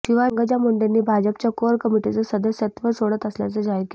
शिवाय पंकजा मुंडेंनी भाजपच्या कोअर कमिटीचं सदस्यत्व सोडत असल्याचं जाहीर केलं